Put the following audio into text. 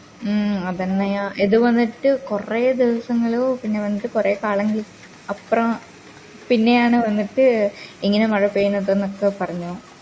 മ് അതെങ്ങനെയാ ഇത് വന്നിട്ട് കൊറേ ദിവസങ്ങള് പിന്നെ വന്നിട്ട് കൊറേ കാലങ്ങളു അപ്പ്ര പിന്നെയാണ് വന്നിട്ട് ഇങ്ങനെ മഴപെയ്യുന്നതൊക്കെ പറഞ്ഞു